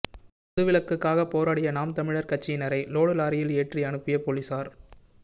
மது விலக்குக்காக போராடிய நாம் தமிழர் கட்சியினரை லோடு லாரியில் ஏற்றி அனுப்பிய போலீசார்